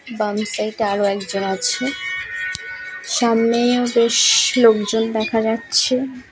বাম সাইড এ আরো একজন আছে সামনে বেশ লোক জন দেখা যাচ্ছে ।